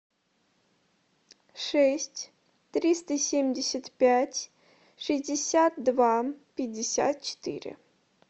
шесть триста семьдесят пять шестьдесят два пятьдесят четыре